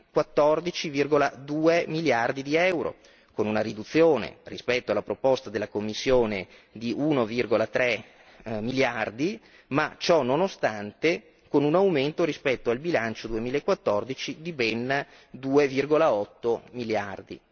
14,2 miliardi di euro, con una riduzione rispetto alla proposta della Commissione di 1,3 miliardi, ma ciononostante con un aumento rispetto al bilancio 2014 di ben 2,8 miliardi.